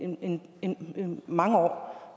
mange år